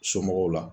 Somɔgɔw la